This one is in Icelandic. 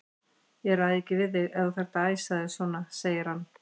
Ég ræði ekki við þig ef þú þarft að æsa þig svona, segir hann.